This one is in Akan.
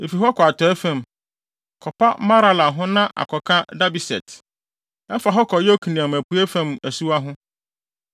Efi hɔ kɔ atɔe fam, kɔpa Marala ho na akɔka Dabeset. Ɛfa hɔ kɔ Yokneam apuei fam asuwa ho.